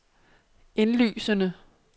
indlysende